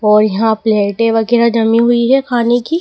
और यहां प्लेट वगैरा जमी हुई है खाने की--